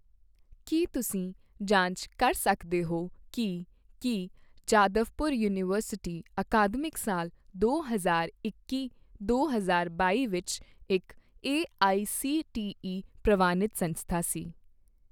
ਕੀ ਤੁਸੀਂ ਜਾਂਚ ਕਰ ਸਕਦੇ ਹੋ ਕੀ ਕੀ ਜਾਦਵਪੁਰ ਯੂਨੀਵਰਸਿਟੀ ਅਕਾਦਮਿਕ ਸਾਲ ਦੋ ਹਜ਼ਾਰ ਇੱਕੀ ਦੋ ਹਜ਼ਾਰ ਬਾਈ ਵਿੱਚ ਇੱਕ ਏਆਈਸੀਟੀਈ ਪ੍ਰਵਾਨਿਤ ਸੰਸਥਾ ਸੀ?